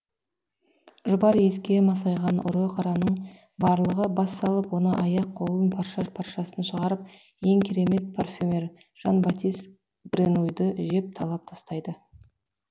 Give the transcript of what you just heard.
жұпар иіске масайған ұры қараның барлығы бас салып оны аяқ қолын парша паршасын шығарып ең керемет парфюмер жан батис гренуйді жеп талап тастайды